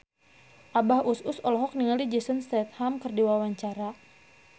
Abah Us Us olohok ningali Jason Statham keur diwawancara